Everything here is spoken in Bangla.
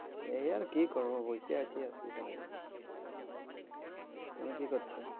এই আর কি আছে, তুমি আর কি হবে? "